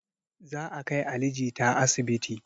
Za a kai ali jita asibiti